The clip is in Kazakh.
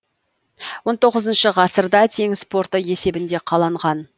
он тоғызыншы ғасырда теңіз порты есебінде қаланған